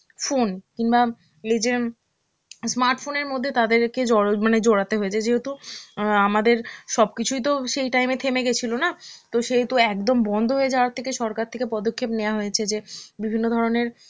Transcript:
phone কিংবা এইযে উম smart phone এর মধ্যে তাদেরকে জড়ো~ মানে জড়াতে হয়েছে যেহেতু অ্যাঁ আমাদের সবকিছুই তো সেই time এ থেমে গেছিলো না, তো সেহেতু একদম বন্ধ হয়ে যাওয়া থেকে সরকার থেকে পদক্ষেপ নেওয়া হয়েছে যে বিভিন্ন ধরনের